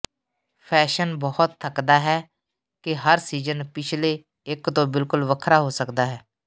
fashion ਬਹੁਤ ਥੱਕਦਾ ਹੈ ਕਿ ਹਰ ਸੀਜਨ ਪਿਛਲੇ ਇਕ ਤੋਂ ਬਿਲਕੁਲ ਵੱਖਰਾ ਹੋ ਸਕਦਾ ਹੈ